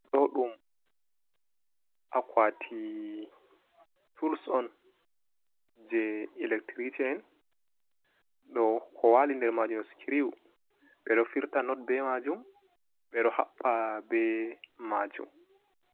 Ɗo ɗum akwati tuls on, je electricen, ɗo ko wali nder majum scriw ɓeɗo firta not be majum ɓeɗo haɓɓa be majum,